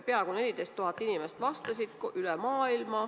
Peaaegu 14 000 inimest vastas.